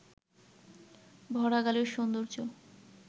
ভরা গালের সৌন্দর্য